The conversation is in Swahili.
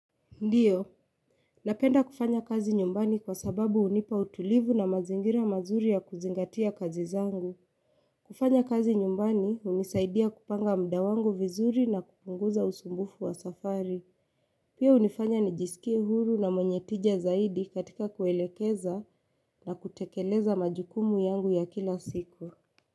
Ndiyo. Napenda kufanya kazi nyumbani kwa sababu hunipa utulivu na mazingira mazuri ya kuzingatia kazi zangu. Kufanya kazi nyumbani hunisaidia kupanga mda wangu vizuri na kupunguza usumbufu wa safari. Pia hunifanya nijisikie huru na mwenye tija zaidi katika kuelekeza na kutekeleza majukumu yangu ya kila siku.